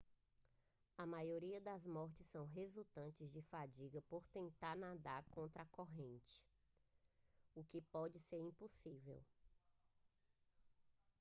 a maioria das mortes são resultantes de fadiga por tentar nadar contra a corrente o que pode ser impossível